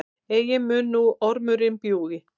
Eigi mun nú ormurinn bjúgi,